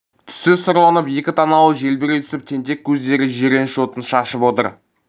түсі сұрланып екі танауы желбірей түсіп тентек көздері жиреніш отын шашып отыр